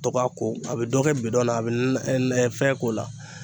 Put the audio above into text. Dɔ k'a ko a be dɔ kɛ bidɔn na a be fɛn k'o la